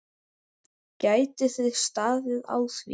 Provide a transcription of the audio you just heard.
Geti þið staðið á því?